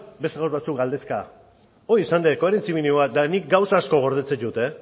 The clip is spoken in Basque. beste gaur batzuk galdezka hori izan dut koherentzia minimo bat eta nik gauza asko gordetzen ditut